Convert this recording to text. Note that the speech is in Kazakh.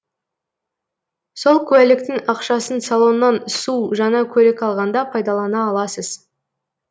сол куәліктің ақшасын салоннан су жаңа көлік алғанда пайдалана аласыз